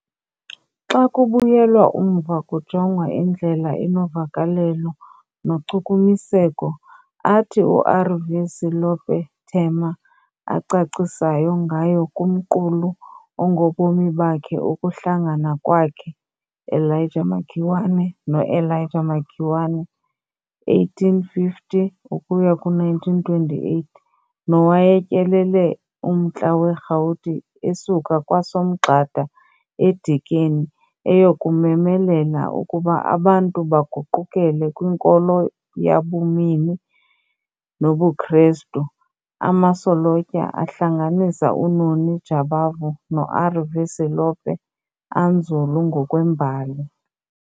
Xa kubuyelwa umva kujongwa indlela enovakelelo nochukumiseko athi uR.V.Selope Thema acacisayo ngayo kumqulu ongobomi bakhe ukuhlangana kwakhe Elijah Makiwane|noElijah Makiwane, 1850-1928, nowayetyelele uMntla weRhawuti esuka kwaSomgxada eDikeni eyokumemelela ukuba abantu baguqukele kwinkolo yabumini nobuKrestu, amasolotya ahlanganisa uNoni Jabavu noR.V.Selope anzulu ngokwembali.